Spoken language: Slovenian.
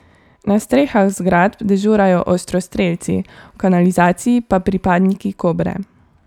Na strehah zgradb dežurajo ostrostrelci, v kanalizaciji pa pripadniki Kobre.